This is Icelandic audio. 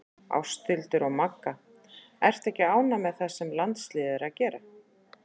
Ásthildur og Magga Ertu ánægð með það sem landsliðið er að gera?